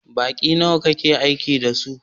Banki nawa kakeaiki da su?